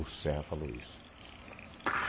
O Serra falou isso.